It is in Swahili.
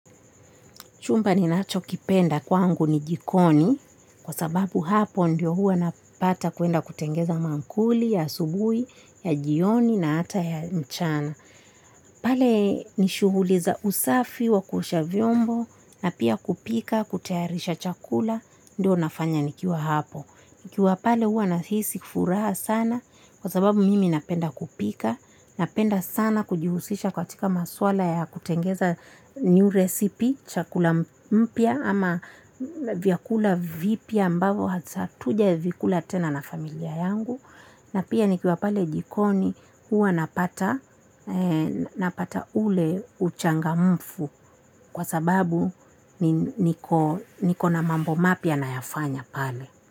Chumba ninachokipenda kwangu ni jikoni kwa sababu hapo ndio huwa napata kwenda kutengeneza maankuli ya asubuhi, ya jioni na hata ya mchana. Pale ni shughuli za usafi wa kuosha vyombo na pia kupika kutayarisha chakula ndio nafanya nikiwa hapo. Nikiwa pale huwa nahisi furaha sana kwa sababu mimi napenda kupika, napenda sana kujihusisha katika masuala ya kutengeneza. New recipe, chakula kipya ama vyakula vipya ambavyo hatujawahi kula tena na familia yangu. Na pia nikiwa pale jikoni huwa napata ule uchangamfu kwa sababu niko na mambo mapya nayafanya pale.